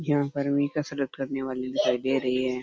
यहाँ पर makeup select करने वाली दिखाई दे रही है।